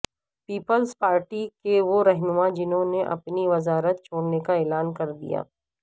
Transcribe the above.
Peoples Party کے وہ رہنما جنہوں نے اپنی وزارت چھوڑنے کا اعلان کردیا